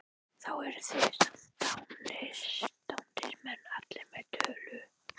Þá eru þið samt dándismenn allir með tölu!